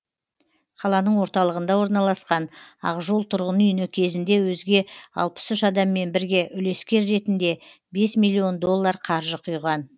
қаланың орталығында орналасқан ақжол тұрғын үйіне кезінде өзге алпыс үш адаммен бірге үлескер ретінде бес миллион доллар қаржы құйған